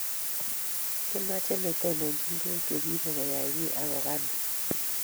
kamache netondonochini tuguk chegiibe koyay giiy agoba ni